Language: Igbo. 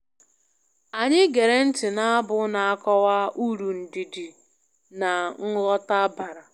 Anyị gere ntị na abu na-akọwa uru ndidi na nghọta bara